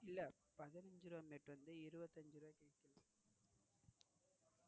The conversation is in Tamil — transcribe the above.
இல்ல பதினைஞ்சு ரூபா mat வந்து இருபத்தியஞ்சு ரூபாய்க்கு விக்கலாம்.